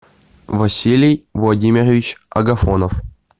василий владимирович агафонов